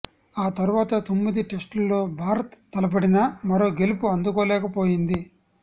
ఆ తర్వాత తొమ్మిది టెస్టుల్లో భారత్ తలపడినా మరో గెలుపు అందుకోలేకపోయింది